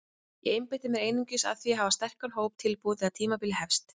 Ég einbeiti mér einungis að því að hafa sterkan hóp tilbúinn þegar tímabilið hefst.